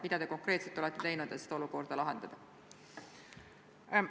Mida te konkreetselt olete teinud, et seda olukorda lahendada?